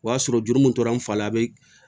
O y'a sɔrɔ juru mun tora n fa la a bɛ